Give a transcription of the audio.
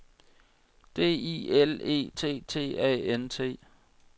D I L E T T A N T